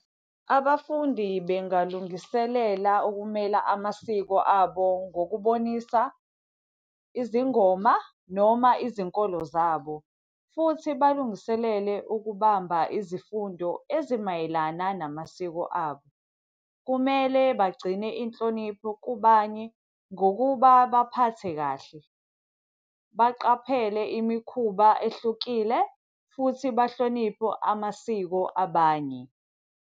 Abafundi bengalungiselela ukumela amasiko abo ngokubonisa izingoma noma izinkolo zabo, futhi balungiselele ukubamba izifundo ezimayelana namasiko abo. Kumele bagcine inhlonipho kubanye ngokuba baphathe kahle, baqaphele imikhuba ehlukile futhi banhloniphe amasiko abanye.